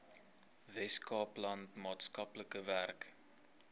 weskaapland maatskaplike werk